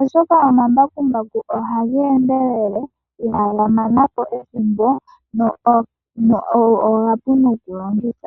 oshoka omambakumbaku ohaga endelele ihaga gamanapo ethimbo go omapu nokulongitha.